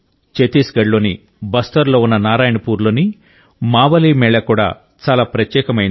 ఛత్తీస్గఢ్లోని బస్తర్లో ఉన్న నారాయణపూర్లోని మావలీ మేళా కూడా చాలా ప్రత్యేకమైంది